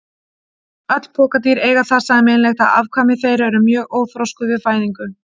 Öll pokadýr eiga það sameiginlegt að afkvæmi þeirra eru mjög óþroskuð við fæðingu.